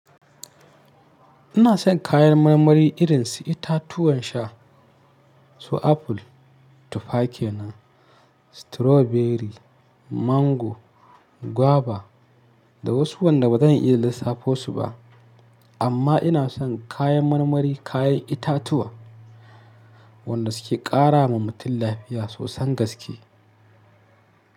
Ina son kayan marmari irin su itatuwan sha, su aful, tufa kenan, stroberi, mango, gwaba da wasu wanda ba zan iya lissafo su ba. Amma ina son kayan marmari kayan itatuwa wanda su ke ƙara wa mutum lafiya sosan gaske.